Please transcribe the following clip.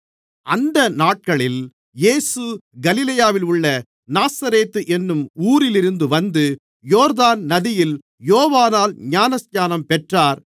அந்த நாட்களில் இயேசு கலிலேயாவில் உள்ள நாசரேத்து என்னும் ஊரிலிருந்து வந்து யோர்தான் நதியில் யோவானால் ஞானஸ்நானம் பெற்றார்